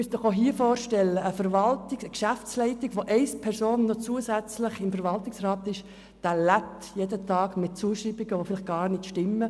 Wenn ein Mitglied der Geschäftsleitung (GL) zusätzlich im Verwaltungsrat sitzt, lebt es jeden Tag mit Zuschreibungen, die vielleicht gar nicht stimmen.